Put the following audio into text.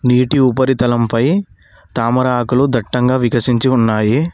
నీటి ఉపరితలంపై తామర ఆకులు దట్టంగా వికసించి ఉన్నాయి.